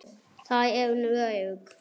Þar er hún örugg.